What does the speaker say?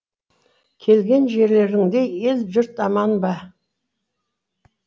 келген жерлеріңде ел жұрт аман ба